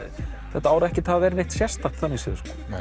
þetta ár ekkert hafa verið neitt sérstakt þannig séð